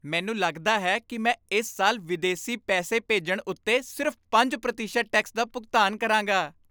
ਮੈਨੂੰ ਲੱਗਦਾ ਹੈ ਕੀ ਮੈਂ ਇਸ ਸਾਲ ਵਿਦੇਸੀ ਪੈਸੇ ਭੇਜਣ ਉੱਤੇ ਸਿਰਫ਼ ਪੰਜ ਪ੍ਰਤੀਸ਼ਤ ਟੈਕਸ ਦਾ ਭੁਗਤਾਨ ਕਰਾਂਗਾ